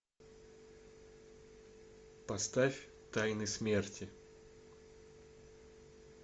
поставь тайны смерти